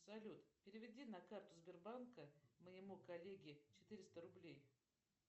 салют переведи на карту сбербанка моему коллеге четыреста рублей